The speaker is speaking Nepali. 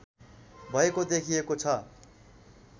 भएको देखिएको छ